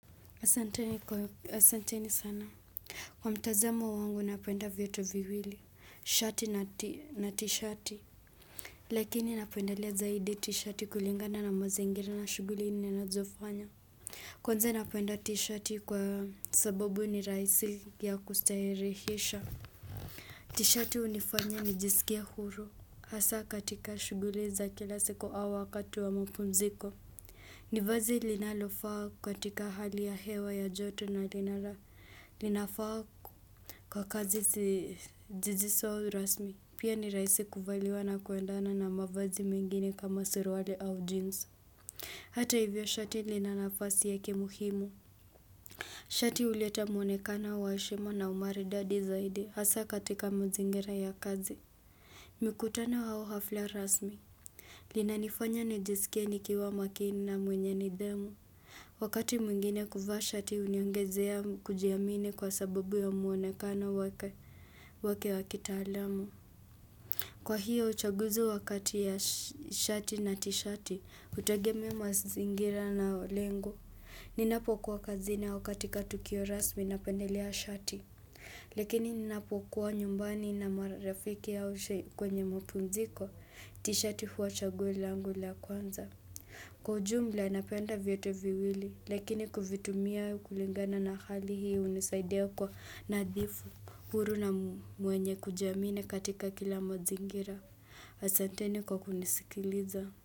Asanteni sana. Kwa mtazamo wangu napenda vyote viwili, shati na t-shati. Lakini napendalea zaidi t-shati kulingana na mazaingira na shuguli ni nazofanya. Kwanza napenda t-shati kwa sababu ni rahisi ya kustaherehisha. T-shati hunifanya ni jisikie huru. Hasa katika shughuli za kila siku au wakati wa mapumziko. Nivazi linalofaa katika hali ya hewa ya joto na linafaa kwa kazi si jizisi au rasmi. Pia niraaisi kuvaliwa na kuendana na mavazi mengini kama suruali au jeans. Hata hivyo shati lina nafasi yake muhimu. Shati uleta mwonekana wa heshima na umaridadi zaidi hasa katika mazingira ya kazi. Mikutano au hafla rasmi. Linanifanya nijisikie nikiwa makini na mwenye nidhamu. Wakati mwingine kuvaa shati huniongezea kujiamini kwa sababu ya mwonekano wake wakitaalamu. Kwa hiyo, uchaguzi wakati ya shati na tishati, hutagemea mazingira na lengo. Ninapo kuwa kazini au katika tukio rasmi napendelea shati. Lakini ninapo kwa nyumbani na marafiki haushe kwenye mapumziko, tishati huwa chaguo langu la kwanza. Kwa ujumbla napenda vyote viwili, lakini kuvitumia kulingana na hali hii hunisaidia kwa nadhifu huru na mwenye kujiamini katika kila mazingira, asateni kwa kunisikiliza.